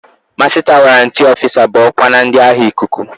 Masịta warrantị ọfịsa bụ ọkwa na ndị agha ikuku.